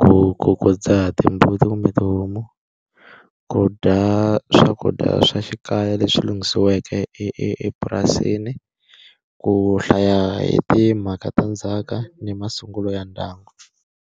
ku ku ku dzaha timbuti kumbe tihomu, ku dya swakudya swa xikaya leswi lunghisiweke epurasini, ku hlaya hi timhaka ta ndzhaka ni masungulo ya ndyangu.